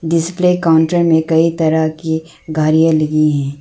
Display counter में कई तरह की घड़ियां लगी है।